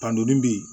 Kan doni bi